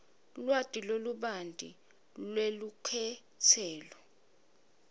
lwati lolubanti lwelukhetselo